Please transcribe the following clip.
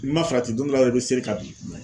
I ma farati don dɔ la dɔrɔn i bɛ sɛri ka bin.